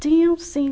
Tinha, sim.